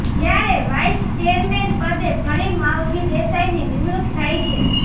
જ્યારે vice chairman પદે ફરી માવજી દેસાઈની નિમણૂક થઈ છે